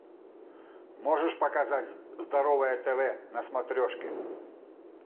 можешь показать здоровое тв на смотрешке